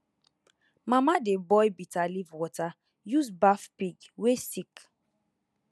mama dey boil bitterleaf water use baff pig wey sick